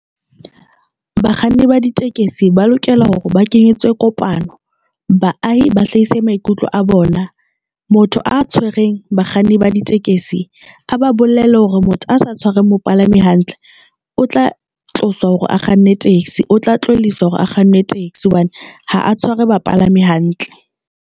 Bakganni ba ditekesi ba lokela hore ba kenyetswe kopano, baahi ba hlahise maikutlo a bona motho a tshwereng bakganni ba ditekesi a ba bolelle hore motho a sa tshwareng mopalami hantle o tla tloswa hore a kganne taxi, o tla tlohelliswa hore a kganne taxi hobane ha a tshware bapalami hantle.